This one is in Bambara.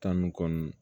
Tan ni kɔ nunnu